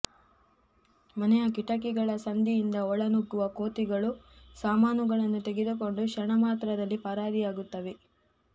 ಮನೆಯ ಕಿಟಕಿಗಳ ಸಂದಿಯಿಂದ ಒಳನುಗ್ಗುವ ಕೋತಿಗಳು ಸಾಮಾನುಗಳನ್ನು ತೆಗೆದುಕೊಂಡು ಕ್ಷಣಮಾತ್ರದಲ್ಲಿ ಪರಾರಿಯಾಗುತ್ತವೆ